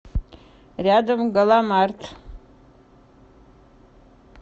рядом галамарт